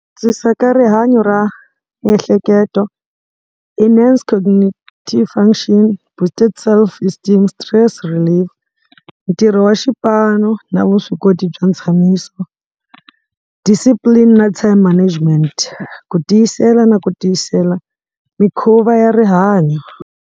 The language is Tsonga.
Ku antswisa ka rihanyo ra miehleketo enhance cognitive function, boosting self-esteem, stress relief, ntirho wa xipano na vuswikoti bya ntshamisano. Discipline na time management ku tiyisela na ku tiyisela mikhuva ya rihanyo.